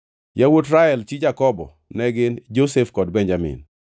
Yawuot Rael chi Jakobo ne gin: Josef kod Benjamin.